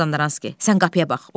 Mazandaranski: Sən qapıya bax.